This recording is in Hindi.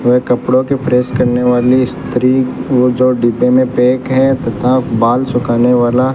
वे कपड़ो के प्रेस करने वाली स्त्री वो जो डिब्बों मे पैक है तथा बाल सूखाने वाला --